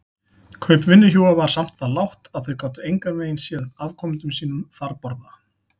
Kaup vinnuhjúa var samt það lágt að þau gátu engan veginn séð afkomendum sínum farborða.